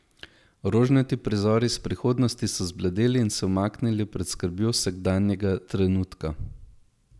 Rožnati prizori iz prihodnosti so zbledeli in se umaknili pred skrbjo sedanjega trenutka.